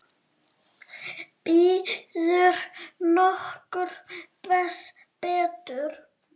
Býður nokkur betur?